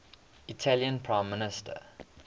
italian prime minister